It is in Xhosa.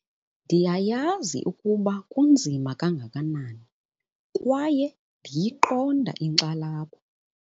Ndiyayazi ukuba kunzima kangakanani kwaye ndiyiqonda inkxalabo